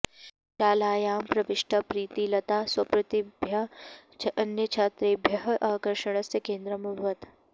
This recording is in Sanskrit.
शालायां प्रविष्टा प्रीतिलता स्वप्रतिभया अन्यछात्रेभ्यः आकर्षणस्य केन्द्रम् अभवत्